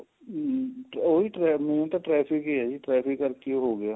ਹਮ ਉਹੀ ਹੁਣ ਤਾਂ ਟ੍ਰੈਫ਼ਿਕ ਹੀ ਹੈ ਜੀ ਟ੍ਰੈਫ਼ਿਕ ਕਰਕੇ ਹੋ ਗਿਆ